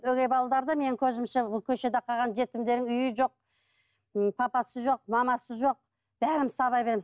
өгей балалары да менің көзімше көшеде қалған жетімдерің үйі жоқ ы папасы жоқ мамасы жоқ бәріміз сабай береміз